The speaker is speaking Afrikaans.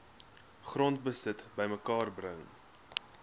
grondbesit bymekaar bring